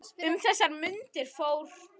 Um þessar mundir fór